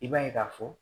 I b'a ye k'a fɔ